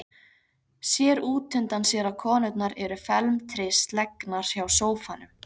Sér útundan sér að konurnar eru felmtri slegnar hjá sófanum.